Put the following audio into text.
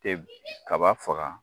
tɛ kaba faga